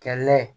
Kɛ la ye